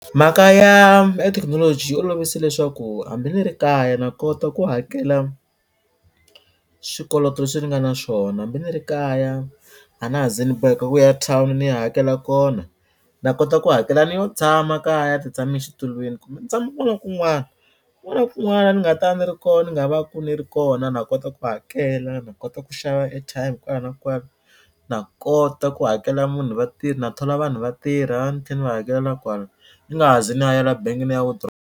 Mhaka ya ya technology yi olovise leswaku hambi ni ri kaya na kota ku hakela swikoloto leswi ni nga na swona. Hambi ni ri kaya a na ha ze ni boheka ku ya town ni ya hakela kona na kota ku hakela ni yo tshama kaya ni titshame exitulweni kumbe ni tshama kun'wana na kun'wana. Kun'wana na kun'wana la ni nga ta ni ri koho ni nga va ku ni ri kona na kota ku va hakela na kota ku xava airtime kwala na kwala na kota ku hakela munhu vatirhi na thola vanhu va tirha ni tlhela ni va hakelela kwala ni nga ha zi na bangi ni ya .